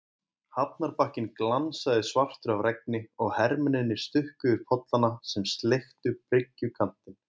Hafnarbakkinn glansaði svartur af regni og hermennirnir stukku yfir pollana sem sleiktu bryggjukantinn.